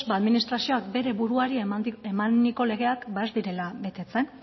ba administrazioak bere buruari emaniko legeak ba ez direla betetzen